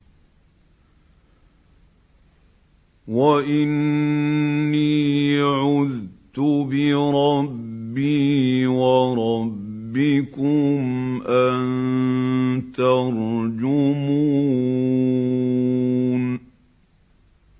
وَإِنِّي عُذْتُ بِرَبِّي وَرَبِّكُمْ أَن تَرْجُمُونِ